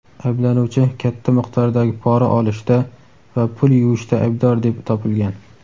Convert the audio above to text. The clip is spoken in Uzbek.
Ayblanuvchi katta miqdordagi pora olishda va pul "yuvish"da aybdor deb topilgan.